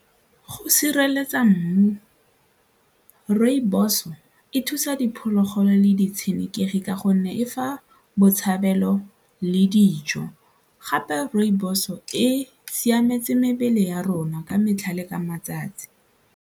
Go sireletsa mmu, rooibos-o e thusa diphologolo le ditshenekegi ka gonne e fa botshabelo le dijo gape rooibos-o e siametse mebele ya rona ka metlha le ka matsatsi.